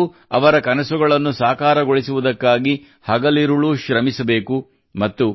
ನಾವು ಅವರ ಕನಸುಗಳನ್ನು ಸಾಕಾರಗೊಳಿಸುವುದಕ್ಕಾಗಿ ಹಗಲಿರುಳೂ ಶ್ರಮಿಸಬೇಕು ಮತ್ತು